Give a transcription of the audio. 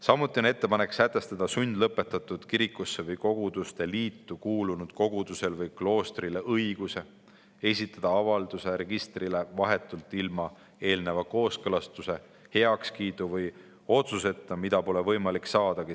Samuti on ettepanek sätestada sundlõpetatud kirikusse või koguduste liitu kuulunud koguduse või kloostri õigus esitada avaldus registrile vahetult ilma eelneva kooskõlastuse, heakskiidu või otsuseta, mida säärasel juhul pole võimalik saadagi.